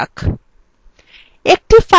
এতক্ষণের আলোচনার সারসংক্ষেপ করা যাক